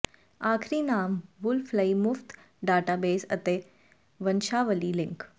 ਆਖਰੀ ਨਾਮ ਵੁਲਫ ਲਈ ਮੁਫਤ ਡਾਟਾਬੇਸ ਅਤੇ ਵੰਸ਼ਾਵਲੀ ਲਿੰਕ